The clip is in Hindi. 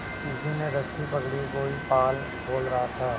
किसी ने रस्सी पकड़ी कोई पाल खोल रहा था